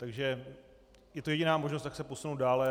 Takže je to jediná možnost, jak se posunout dál.